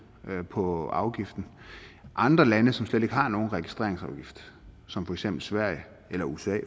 på afgiften andre lande som slet ikke har nogen registreringsafgift som for eksempel sverige eller usa